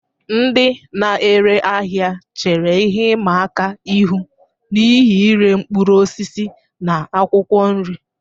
Ndị na-ere ahịa chere ihe ịma aka ihu n'ihi ire mkpụrụ osisi na akwụkwọ nri.